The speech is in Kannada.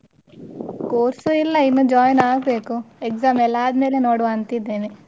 Course ಇಲ್ಲ ಇನ್ನು join ಆಗ್ಬೇಕು exam ಎಲ್ಲ ಆದ್ಮೇಲೆ ನೋಡುವಂತಿದ್ದೇನೆ.